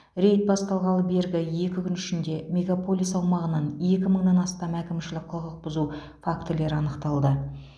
рейд басталғалы бергі екі күн ішінде мегаполис аумағынан екі мыңнан астам әкімшілік құқық бұзу фактілері анықталды